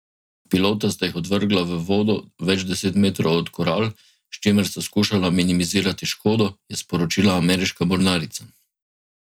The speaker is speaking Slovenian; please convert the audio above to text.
Pilota sta jih odvrgla v vodo več deset metrov od koral, s čimer sta skušala minimizirati škodo, je sporočila ameriška mornarica.